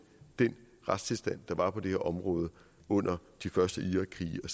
den retstilstand der var på det her område under de første irakkrige og